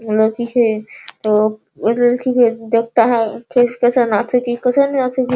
ये लोग पीछे एक लड़की को देखता है फेस केसन